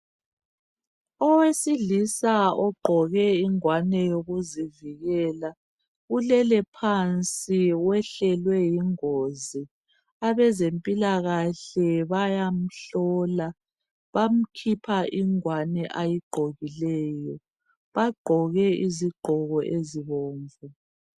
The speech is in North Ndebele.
Owesilisa ogqoke ingwane yokuzivikela ulele phansi wehlelwe yingozi abezempilakahle bayamhlola bamkhipha ingwane ayigqokileyo bagqoke izigqoko ezibomvu.